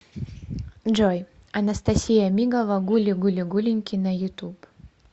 джой анастасия мигова гули гули гуленьки на ютуб